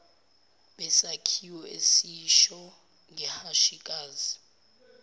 besakhiwo esisho ngehhashikazi